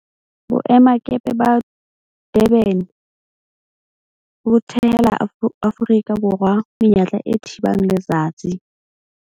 Boemakepe ba Durban bo thehela Aforika Borwa menyetla e thibang letsatsi.